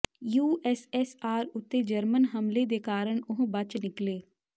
USSR ਉੱਤੇ German ਹਮਲੇ ਦੇ ਕਾਰਨ ਉਹ ਬਚ ਨਿਕਲੇ